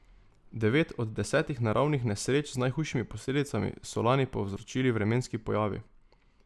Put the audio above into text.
Devet od desetih naravnih nesreč z najhujšimi posledicami so lani povzročili vremenski pojavi.